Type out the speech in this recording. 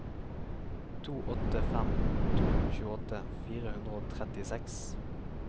to åtte fem to tjueåtte fire hundre og trettiseks